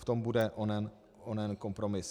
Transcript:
V tom bude onen kompromis.